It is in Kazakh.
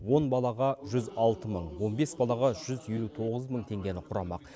он балаға жүз алты мың он бес балаға жүз елу тоғыз мың теңгені құрамақ